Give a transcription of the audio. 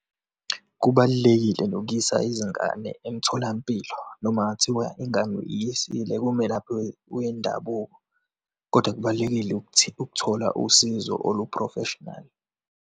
Kubalulekile nokuyisa izingane emtholampilo noma kungakuthiwa ingane uyisile kumelaphi wendabuko. Kodwa kubalulekile ukuthola usizo olu-professional.